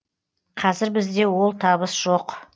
қазір бізде ол табыс жоқ